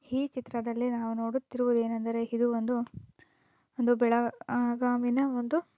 ಈ ಚಿತ್ರದಲ್ಲಿ ನಾವು ನೋಡುತ್ತಿರುವುದು ಏನು ಅಂದರೆ ಇದು ಒಂದು ಬೆಳಗಾವಿನ ಒಂದು--